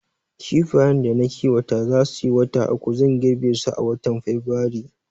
Kifayen da na kiwata za suyi wata uku, zan girbe su a watan Fabrairu